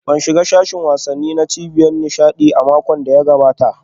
Ban shiga sashin wasanni na cibiyar nishaɗi a makon da ya gabata ba